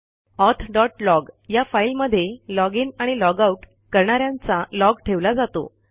auth log या फाईलमध्ये log in आणि लॉग आउट करणा यांचा लॉग ठेवला जातो